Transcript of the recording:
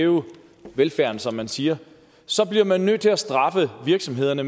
hæve velfærden som man siger så bliver man nødt til at straffe virksomhederne